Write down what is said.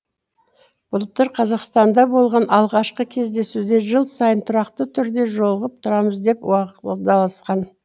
былтыр қазақстанда болған алғашқы кездесуде жыл сайын тұрақты түрде жолығып тұрамыз деп уағдаласқан